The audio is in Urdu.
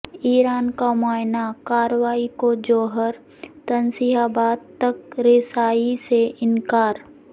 ایران کا معائنہ کاروں کو جوہری تنصیبات تک رسائی سے انکار